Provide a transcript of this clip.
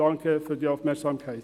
Danke für die Aufmerksamkeit.